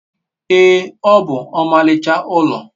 ee, o bu omaricha ulo